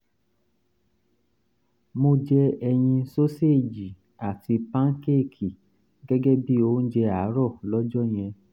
mo jẹ ẹyin soseji àti pankéèkì gẹ́gẹ́ bíi oúnjẹ àárọ̀ lọ́jọ́ yẹn